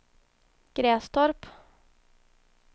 Grästorp